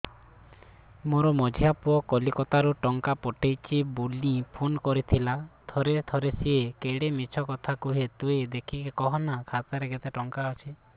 ମୋର ମଝିଆ ପୁଅ କୋଲକତା ରୁ ଟଙ୍କା ପଠେଇଚି ବୁଲି ଫୁନ କରିଥିଲା ଥରେ ଥରେ ସିଏ ବେଡେ ମିଛ କଥା କୁହେ ତୁଇ ଦେଖିକି କହନା ଖାତାରେ କେତ ଟଙ୍କା ଅଛି